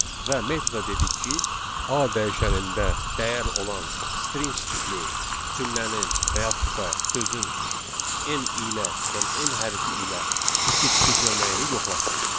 Və metoda dedik ki, A dəyişənində dəyər olan string tipli cümlənin və yaxud da sözün M ilə, yəni M hərfi ilə bitib bitməməyini yoxlasın.